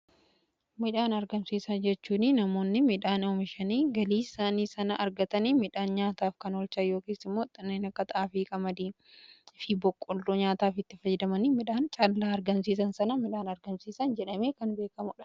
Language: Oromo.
midhaan argamsiisa jechuun namoonni midhaan oomishanii galii isaanii sana argatanii midhaan nyaataaf kan oolchan kanneen akka xaafii, qamadii fi boqqoolloo nyaataaf itti fayyadaman midhaan callaa argamsiisan sana midhaan argamsiisan jedhamee kan beekamuudha.